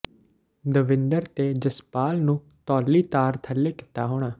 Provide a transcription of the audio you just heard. ਦਵਿੰਦਰ ਤੇ ਜਸਪਾਲ ਨੂੰ ਧੌਲੀ ਧਾਰ ਥੱਲੇ ਕੀਤਾ ਹੋਣਾ